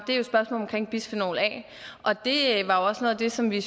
bisfenol a og det var også noget af det som vi i